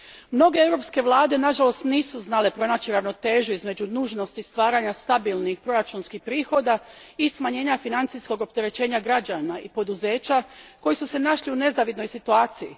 Mnoge europske vlade nažalost nisu znale pronaći ravnotežu između nužnosti stvaranja stabilnih proračunskih prihoda i smanjenja financijskog opterećenja građana i poduzeća koji su se našli u nezavidnoj situaciji.